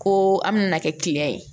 Ko an bɛna kɛ kiliyan ye